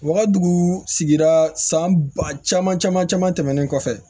U ka dugu sigira san ba caman caman tɛmɛnen kɔfɛ